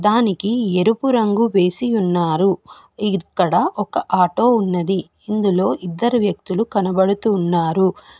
దానికి ఎరుపు రంగు వేసి ఉన్నారు ఇక్కడ ఒక ఆటో ఉన్నది ఇందులో ఇద్దరు వ్యక్తులు కనబడుతున్నారు.